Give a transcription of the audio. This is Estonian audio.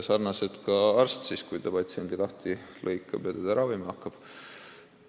Samamoodi ei tea teinekord arst, mis teda ees ootab, kui ta patsiendi lahti lõikab, et teda ravima hakata.